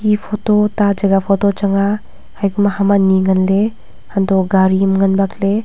eya photo ta jaga photo chang a haye kuma ham anyi nganley untoh gari ham ngan bakley.